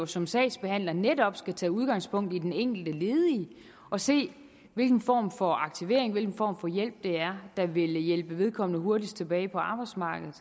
som sagsbehandler netop skal tage udgangspunkt i den enkelte ledige og se hvilken form for aktivering hvilken form for hjælp der der vil hjælpe vedkommende hurtigst tilbage på arbejdsmarkedet